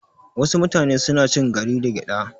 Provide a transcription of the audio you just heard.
Wasu mutane suna cin gari da gyada